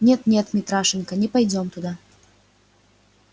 нет нет митрашенька не пойдём туда